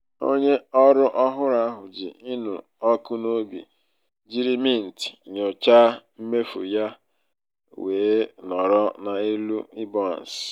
onye ọrụ ọhụrụ ahụ ji ịnụ ọkụ n'obi jiri mint nyochaa mmefu ya wee nọrọ n'elu iboances.